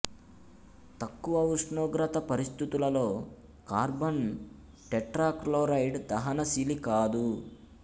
తక్కువ ఉష్ణోగ్రత పరిస్థితులలో కార్బన్ టెట్రాక్లోరైడ్ దహన శీలి కాదు